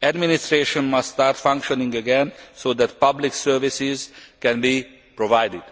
The administration must start functioning again so that public services can be provided.